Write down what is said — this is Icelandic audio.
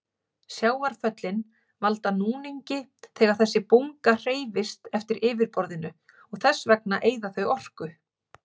Sjávarföllin valda núningi þegar þessi bunga hreyfist eftir yfirborðinu og þess vegna eyða þau orku.